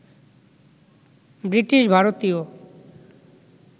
British ভারতীয়